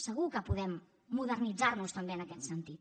segur que podem modernitzar nos també en aquest sentit